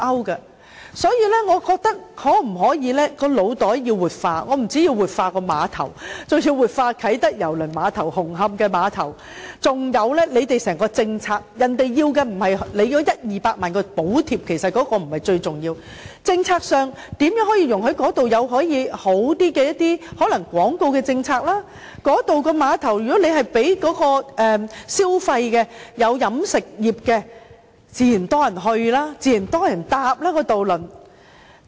因此，政府的腦袋可否活化——我們不但要活化碼頭，包括啟德郵輪碼頭和紅磡碼頭，還有在整體政策上，需要做的不是提供一二百萬元的補貼，那不是最重要，而是在政策上如何容許一些較好的做法，例如在廣告政策上，如果碼頭有飲食業，很多人便自然會前往該處，渡輪也自然會有很多人乘搭。